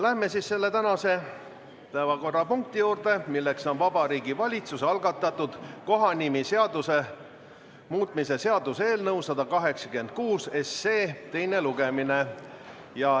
Läheme tänase päevakorrapunkti juurde, Vabariigi Valitsuse algatatud kohanimeseaduse muutmise seaduse eelnõu 186 teine lugemine.